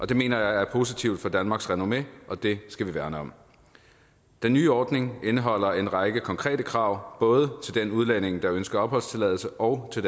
det mener jeg er positivt for danmarks renommé og det skal vi værne om den nye ordning indeholder en række konkrete krav både til den udlænding der ønsker opholdstilladelse og til